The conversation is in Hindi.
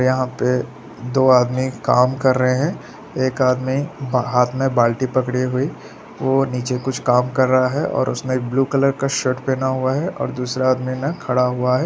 यहाँ पे दो आदमी काम कर रहे है एक आदमी हाथ में बाल्टी पकड़ी हुई वो निचे कुछ काम कर रहा है और उसने ब्लू कलर का शर्ट पहना हुआ है और दूसरा आदमी ने खड़ा हुआ है।